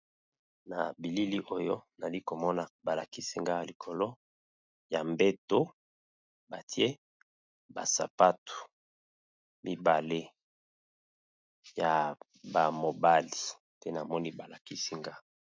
Na bilili oyo nali komona balakisinga ya likolo ya mbeto batie basapatu mibale ya bamobali te namoni balakisinga.